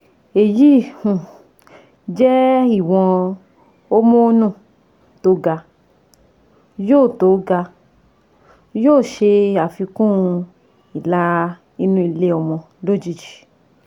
Èyí um jẹ́ ìwọ̀n homonu tó ga, yóò tó ga, yóò ṣe àfikún ìlà inú ilé-ọmọ lójijì